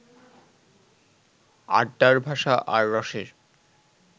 আড্ডার ভাষা আর রসের